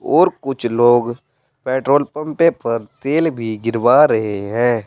और कुछ लोग पेट्रोल पंप पर तेल भी गिरवा रहे हैं।